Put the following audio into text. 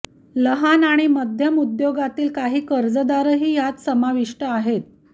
लहान आणि मध्यम उद्योगातील काही कर्जदारही यात समाविष्ट आहेत